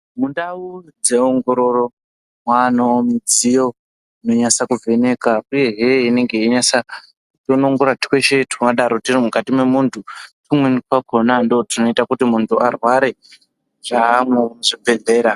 Mundau dzeongororo mwaanevo midziyo inonasa kuvheneka, uyehe inenge yeinyasa kudonongora twese tungadaro turi kukati mwemuntu. Tumweni twakona ndotunoita kuti muntu arware chamwo muzvibhedhlera.